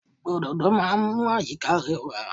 Òdòdó máa ń mú àyíká rẹwà.